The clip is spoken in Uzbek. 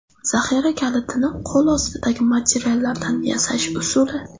Zaxira kalitini qo‘lostidagi materiallardan yasash usuli .